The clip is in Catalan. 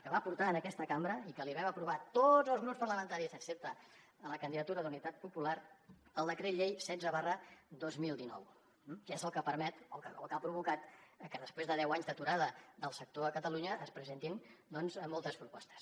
que va portar a aquesta cambra i que li vam aprovar tots els grups parlamentaris excepte la candidatura d’unitat popular el decret llei setze dos mil dinou que és el que ha provocat que després de deu anys d’aturada del sector a catalunya es presentin doncs moltes propostes